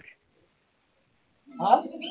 হা